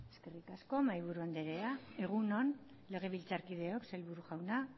eskerrik asko mahaiburu anderea egun on legebiltzarkideok sailburu jauna